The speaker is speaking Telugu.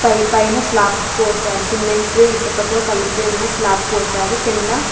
పై పైన స్లాప్ పోశారు సిమెంట్ ఇసుకతో ఉన్న కలిసి ఉన్న స్లాప్ పోశారు.